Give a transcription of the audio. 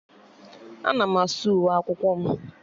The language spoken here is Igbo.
Ana m asa uwe akwụkwọ m